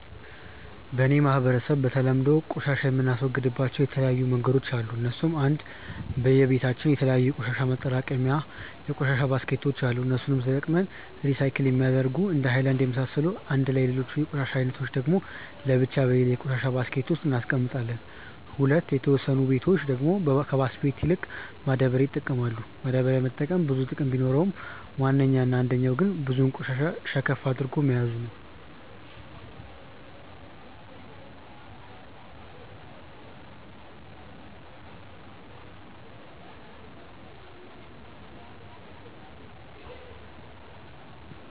በ እኔ ማህበረሰብ በተለምዶ ቆሻሻ የምናስወግድባቸው የተለያዩ መንገዶች አሉ እነሱም :- 1. በየ በታችን የተለያዩ የቆሻሻ ማጠራቀሚታ የቆሻሻ ባስኬቶች አሉ እነሱንም ተጠቅመን ሪሳይክል የሚደረጉትን እንደነ ሃይላንድ የመሳሰሉትን አንድላይ ሌሎቹን የቆሻሻ አይነቶች ደግሞ ለብቻ በሌላ የቆሻሻ ባስኬት ውስጥ እናስቀምጣለም። 2. የተወሰኑ በቶች ደግሞ ከባስኬት ይልቅ ማዳበሪያ ይጠቀማሉ፤ ማዳበሪያ መጠቀም ብዙ ጥቅም ቢኖረውም ዋነኛው እና አንደኛው ግን ብዙ ቆሻሻ ሸከፍ አድርጎ መያዙ ነው።